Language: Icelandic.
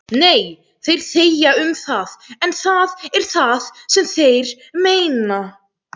Nei, þeir þegja um það en það er það sem þeir meina